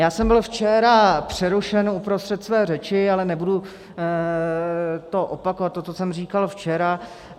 Já jsem byl včera přerušen uprostřed své řeči, ale nebudu opakovat to, co jsem říkal včera.